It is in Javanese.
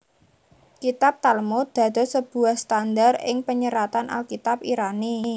Kitab Talmud dados sebuah standard ing panyeratan Alkitab Irani